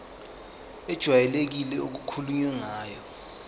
ejwayelekile okukhulunywe ngayo